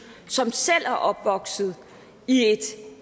som selv er opvokset i et